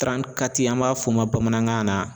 an b'a fɔ o ma bamanankan na